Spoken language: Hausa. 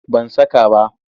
Ban saka ba.